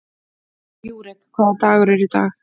Júrek, hvaða dagur er í dag?